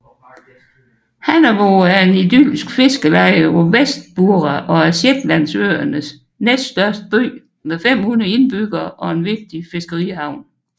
Hamnavoe er en idyllisk fiskeleje på West Burra og er Shetlandsøernes næststørste by med 500 indbyggere og en vigtig fiskerihavn